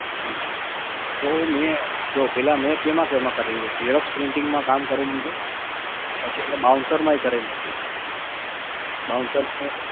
હમ હમ તો મે, જો પહેલા મે કેમાં કેમાં કરેલી છે, xerox printing માં કામ કરેલું છે પછી એટલે bouncer માં એય કરેલું છે bouncer